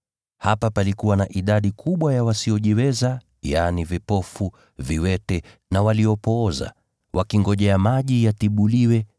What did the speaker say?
Hapa palikuwa na idadi kubwa ya wasiojiweza, yaani, vipofu, viwete, na waliopooza [wakingojea maji yatibuliwe.